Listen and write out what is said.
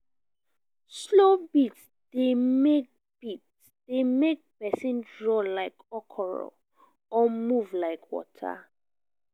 slow beats de make beats de make persin draw like okoro or move like water